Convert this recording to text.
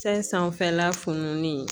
Sayi sanfɛla funulen